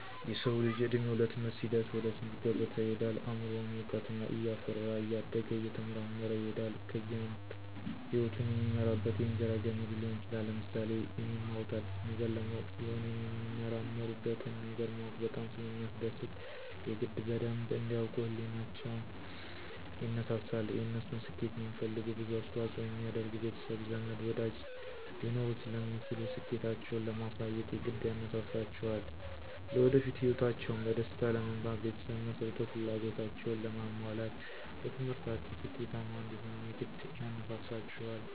የሰዉ ልጅ እድሜዉ ለትምህርት ሲደርስ ወደ ትምህርት ገበታ ይሄዳል አምሮዉም እዉቀትን እያፈራ እያደገ እየተመራመረ ይሄዳል ከዚያም ህይወቱን የሚመራበት የእንጀራ ገመዱ ሊሆን ይችላል። ለምሳሌ፦ የሚማሩት አዲስ ነገር ለማወቅ ስለሆነ የሚመራመሩበትን ነገር ማወቅ በጣም ስለሚያስደስት የግድ በደንብ እንዲ ያዉቁ ህሊቸዉ ይነሳሳል፣ የነሱን ስኬት የሚፈልጉ ብዙ አስተዋፅኦ የሚያደርጉ ቤተሰብ፣ ዘመድ፣ ወዳጅ ሊኖሩ ስለሚችሉ ስኬታቸዉን ለማሳየት የግድ ያነሳሳቸዋልለወደፊት ህይወታቸዉን በደስታ ለመምራት ቤተሰብ መስርቶ ፍላጎታቸዉን ለማሟላት በትምህርታቸዉ ስኬታማ እንዲሆኑም የግድ ያነሳሳቸዋል።